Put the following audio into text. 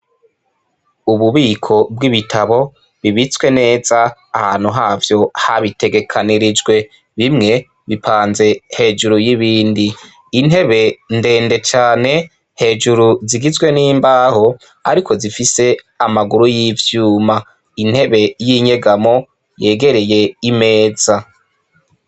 Ububiko bw'ibitabu bibitswe neza ahantu havyo habitegekanirijwe. Bimwe bipanze hejuru y'ibindi. Intebe ndende cane, hejuru zigizwe n'imbaho, ariko zifise amaguru y'ivyuma. Intebe y'inyegamo yegereye imeza.